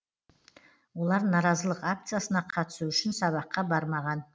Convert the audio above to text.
олар наразылық акциясына қатысу үшін сабаққа бармаған